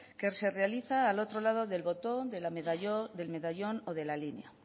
que se realiza al otro lado del botón del medallón o de la línea